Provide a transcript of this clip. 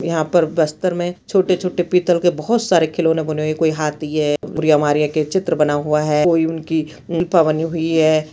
यहाँ पर बस्तर में छोटे-छोटे पीतल के बहोत सारे खिलौने बने हुए है कोई हाथी है और ये हमारे यहाँ के चित्र बना हुआ है कोई उनकी प-- बनी हुई है।